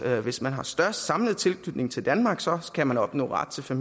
at hvis man har størst samlet tilknytning til danmark så kan man opnå ret til